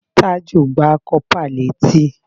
Tájù gbá kọ́pà létí